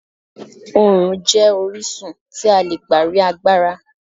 Oòrùn jẹ́ orísun tí a lè gbà rí agbára.